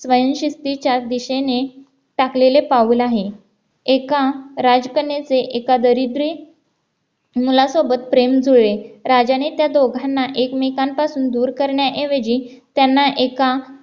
friendship चे चार दिशेने टाकलेले पाऊल आहे एका राजकन्याचे एका दारिद्र्य मुलासोबत प्रेम जुळले राजाने त्या दोघांना एकमेकांपासून दूर करण्याऐवजी त्यांना एका